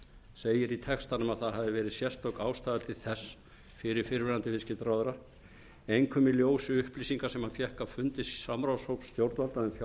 segir í textanum að það hafi verið sérstök ástæða til þess fyrir fyrrverandi viðskiptaráðherra einkum í ljósi upplýsinga sem hann fékk á fundi samráðshóps stjórnvalda um